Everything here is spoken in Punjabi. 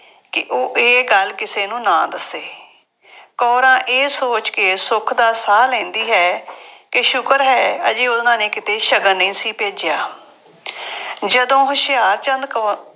ਕਿ ਉਹ ਇਹ ਗੱਲ ਕਿਸੇ ਨੂੰ ਨਾ ਦੱਸੇ। ਕੌਰਾਂ ਇਹ ਸੋਚ ਕੇ ਸੁੱਖ ਦਾ ਸਾਹ ਲੈਂਦੀ ਹੈ ਕਿ ਸ਼ੁਕਰ ਹੈ ਹਜੇ ਉਹਨਾ ਨੇ ਕਿਤੇ ਸ਼ਗਨ ਨਹੀਂ ਸੀ ਭੇਜਿਆ। ਜਦੋਂ ਹੁਸ਼ਿਆਰਚੰਦ ਕੌ